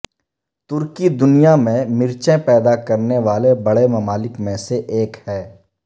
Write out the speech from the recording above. ترکی دنیا میں مرچیں پیدا کرنے والے بڑے ممالک میں سے ایک ہے